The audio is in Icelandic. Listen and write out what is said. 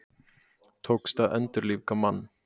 Tókst að endurlífga mann